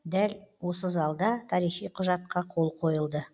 дәл осы залда тарихи құжатқа қол қойылды